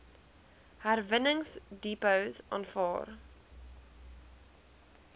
herwinningsdepots aanvaar